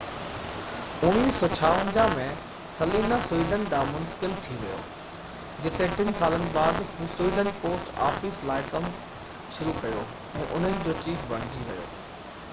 1956 ۾ سلينيا سويڊن ڏانهن منتقل ٿي ويو جتي ٽن سالن بعد هُن سويڊن پوسٽ آفيس لاءِ ڪم شروع ڪيو ۽ انهن جو چيف بڻجي ويو